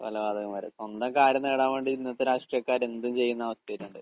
കൊലപാതകം വരെ. സ്വന്തം കാര്യം നേടാൻ വേണ്ടി ഇന്നത്തെ രാഷ്ട്രീയക്കാർ എന്തും ചെയ്യുന്ന അവസ്ഥയായിട്ടുണ്ട്.